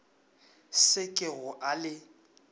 se ke go a le